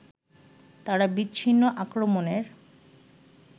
তারা বিচ্ছিন্ন আক্রমণের